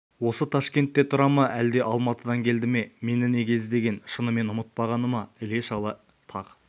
осы ташкентте тұра ма әлде алматыдан келді ме мені неге іздеген шынымен ұмытпағаны ма іле-шала тағы